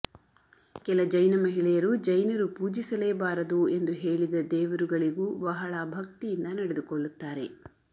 ಕೆಲ ಜೈನಮಹಿಳೆಯರು ಜೈನರು ಪೂಜಿಸಲೇಬಾರದು ಎಂದು ಹೇಳಿದ ದೇವರುಗಳಿಗೂ ಬಹಳ ಭಕ್ತಿಯಿಂದ ನಡೆದುಕೊಳ್ಳುತ್ತಾರೆ